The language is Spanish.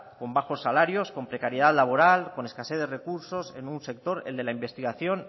con bajos salarios con precariedad laboral con escasez de recursos en un sector el de la investigación